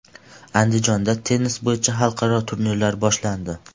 Andijonda tennis bo‘yicha xalqaro turnirlar boshlandi.